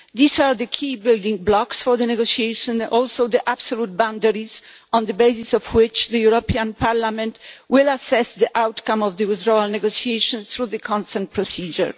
These are the key building blocks for the negotiation and also the absolute boundaries on the basis of which the European Parliament will assess the outcome of the withdrawal negotiations through the consent procedure.